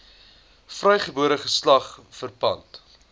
vrygebore geslag verpand